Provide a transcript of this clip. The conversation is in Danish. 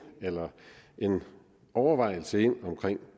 eller en overvejelse ind omkring